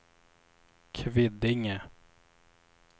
Kvidinge